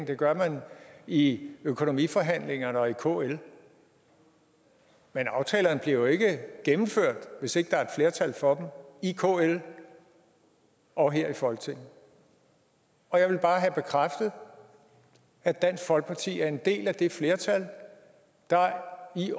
det gør man i økonomiforhandlingerne og i kl men aftalerne bliver jo ikke gennemført hvis ikke der er et flertal for i kl og her i folketinget og jeg vil bare have bekræftet at dansk folkeparti er en del af det flertal der i